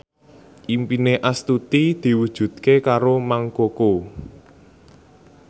impine Astuti diwujudke karo Mang Koko